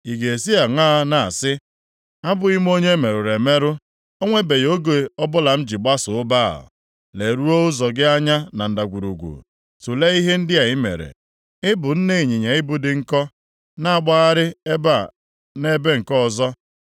“Ị ga-esi aṅaa na-asị, ‘A bụghị m onye e merụrụ emerụ; o nwebeghị oge ọbụla m ji gbaso Baal?’ Leruo ụzọ gị anya na ndagwurugwu, tulee ihe ndị i mere. Ị bụ nne ịnyịnya ibu dị nkọ, na-agbagharị ebe a nʼebe nke ọzọ.